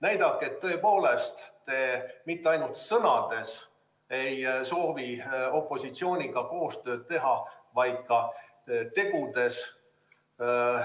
Näidake, et tõepoolest te mitte ainult sõnades ei soovi opositsiooniga koostööd teha, vaid ka tegudes!